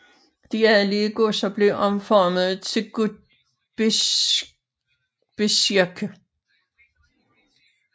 De adelige godser blev omformede til Gutsbezirke